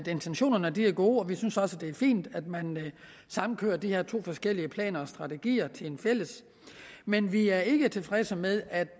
intentionerne er gode og vi synes også at det er fint at man samkører de her to forskellige planer og strategier til en fælles men vi er ikke tilfredse med at